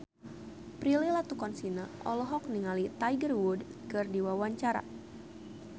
Prilly Latuconsina olohok ningali Tiger Wood keur diwawancara